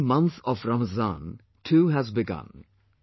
The holy month of Ramazan too has begun